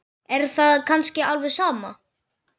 Er það kannski alveg sama?